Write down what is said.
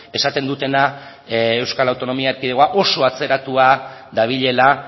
esaten dutena euskal autonomia erkidegoa oso atzeratua dabilela